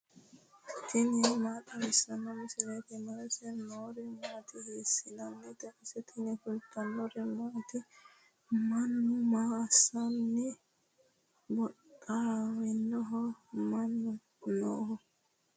tini maa xawissanno misileeti ? mulese noori maati ? hiissinannite ise ? tini kultannori maati? Mannu maa assanni booxxawinnoho? mama nooho?